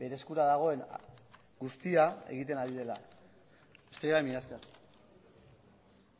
bere eskura dagoen guztia egiten ari dela besterik gabe mila esker